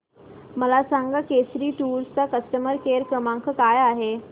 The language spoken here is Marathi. मला सांगा केसरी टूअर्स चा कस्टमर केअर क्रमांक काय आहे